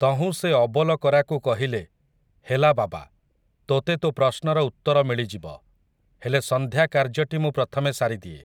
ତହୁଁ ସେ ଅବୋଲକରାକୁ କହିଲେ, ହେଲା ବାବା, ତୋତେ ତୋ ପ୍ରଶ୍ନର ଉତ୍ତର ମିଳିଯିବ, ହେଲେ ସଂନ୍ଧ୍ୟା କାର୍ଯ୍ୟଟି ମୁଁ ପ୍ରଥମେ ସାରିଦିଏ ।